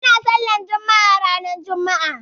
Ana sallar juma'a ranar juma'a